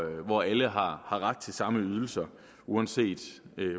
hvor alle har ret til samme ydelser uanset